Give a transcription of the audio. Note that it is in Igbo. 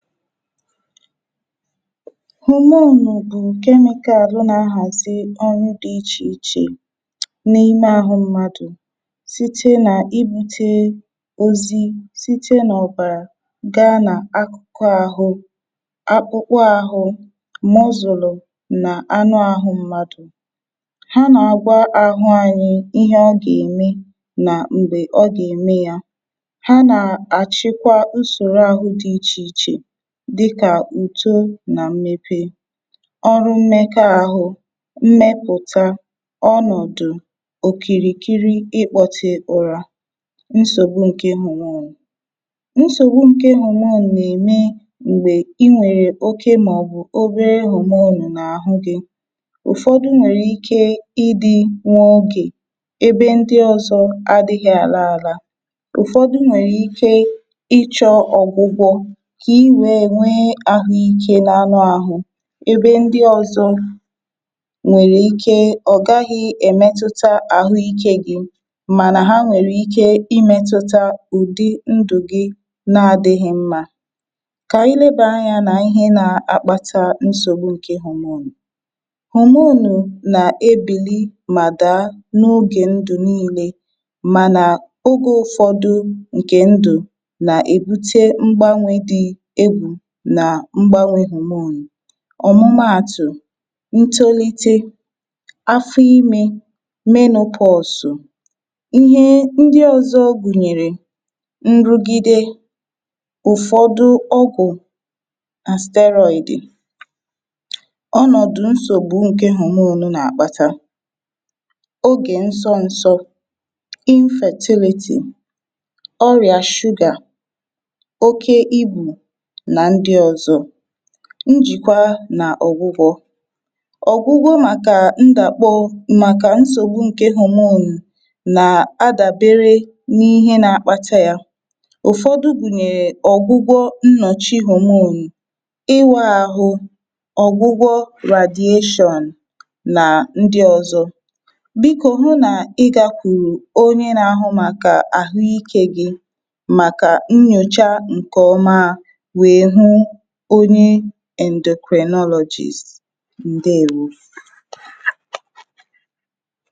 hòmonù bụ̀ ǹkẹ nwẹka àhụ nā ahàzi ọrụ dị̄ ichè ichè n’ime ahụ mmadù site nà ibūte ozi site n’ọ̀bàrà gaa nà akụ̀kụ ahụ akpụkpụ ahụ mọzụ̀lụ̀ nà anụ ahụ mmadù ha nà àgwa ahụ anyị ihẹ ọ gà ème nà m̀gbè ọ gà ème yā ha nà àchịkwa usòro ahụ dị ichè ichè dịkà ùto nà mmepe ọrụ mmẹkọ ahụ mmẹpụ̀ta ọnọ̀dụ̀ òkìrìkiri ịkpọtẹ ụra nsògbu ǹke hòmon nsògbu ǹke hòmon nà ème m̀gbè ị nwèrè oke mà ọ̀ bụ obere hòmòn nà àhụ gị̄ ụ̀fọdụ nwẹ̀rẹ ike ị dị̄ nwa okè ebe ndị ọzọ adịghị àla ala ụ̀fọdụ nwẹ̀rẹ̀ ike ị chọ̄ ọ̀gwụgwọ kà ị wee nwẹ ahụ ike n’anụ ahụ ebe ndị ozọ nwèrè ike ọ̀ gaghị ẹ̀mẹtụta àhụ ike gị̄ mànà ha nwẹ̀rẹ ike ị mẹtụta ùdi ndụ̀ gị nā adịghị mmā kà ànyị nebà anyā nà ihe nā akpata nsògbu ǹke hòmòn hòmònù nà ebìli mà daa n’ogè ndụ̀ nine mànà ogē ụfọdụ ǹkè ndụ̀ nà èbute mgbanwē dị̄ egwù nà mgbanwē hòmonù ọ̀mụma àtụ̀ ntolite afọ imē menōpọsụ ihe ndị ọzọ gùnyèrè nrugide ụ̀fọdụ ọgwụ̀ àstẹrọị̀dị ọnọ̀dụ̀ nsògbu ǹkẹ hòmònu nà àkpata ogè nsọ nsọ ịnfẹ̀tịlịtị̀ ọrịà shugà oke ibù nà ndị ọzọ njìkwa nà ọ̀gwụgwọ̄ ọ̀gwụgwọ màkà ndàkpọ màkà nsògbu ǹke hòmonù nà adàbere n’ihẹ nā akpata yā ụ̀fọdụ gùnyèrè ọ̀gwụgwọ nnọ̀chị hòmonù ị nwẹ ahụ ọ̀gwụgwọ ràdyashọ̀ǹ nà ndị ọzọ bikō hu nà ị gākwùrù onye nā ahụ màkà àhụ ikē gị màkà nyòcha ǹkẹ̀ ọma wee hụ onye ẹǹdòkrìnọlọ̄jist nà:ɦʊ́ jā